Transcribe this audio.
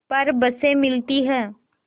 पर बसें मिलती हैं